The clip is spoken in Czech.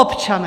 Občané!